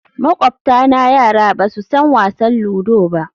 Makwabtana yara ba su san wasan ludo ba